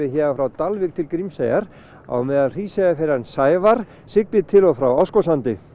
héðan frá Dalvík til Grímseyjar á meðan Sævar siglir til og frá Árskógssandi